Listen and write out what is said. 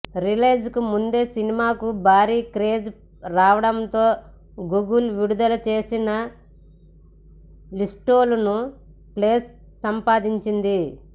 రిలీజ్కు ముందే సినిమాకు భారీ క్రేజ్ రావటంతో గూగుల్ విడుదల చేసిన లిస్ట్లోనూ ప్లేస్ సంపాదించింది